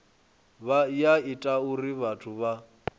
ya ita uri vhathu vha